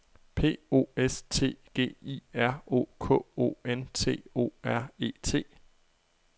P O S T G I R O K O N T O R E T